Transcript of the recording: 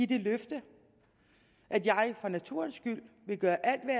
det løfte at jeg for naturens skyld vil gøre alt hvad